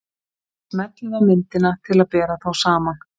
Smellið á myndina til að bera þá saman.